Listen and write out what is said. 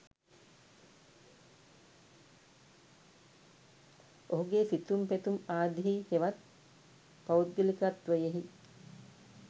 ඔහුගේ සිතුම් පැතුම් ආදියෙහි හෙවත් පෞද්ගලිකත්වයෙහි